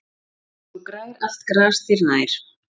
Svo grær allt gras þér nær.